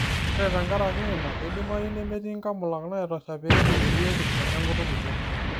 Ore tenkaraki ina, keidimayu nemetii nkamulak naitosha pee eripp biotisho enkutuk ino.